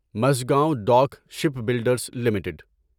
Mazagon dock ship builders limited